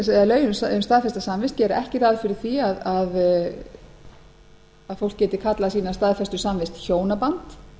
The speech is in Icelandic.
gagnkynhneigð lögin um staðfesta samvist gera ekki ráð fyrir því að fólk geti kallað sína staðfestu samvist hjónaband